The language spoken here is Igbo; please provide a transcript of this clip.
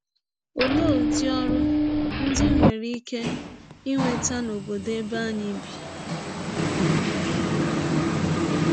Ọlee ụdị ọrụ ndị m nwere ike inweta n’ọbọdọ ebe anyị bi um?